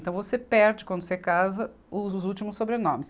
Então você perde, quando você casa, os últimos sobrenomes.